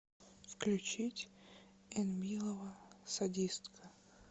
включить энмилова садистка